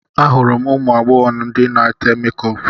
Ahụrụ m ụmụ agbọghọ ndị na-ete mekup